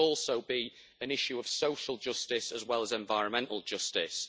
This must also be an issue of social justice as well as environmental justice.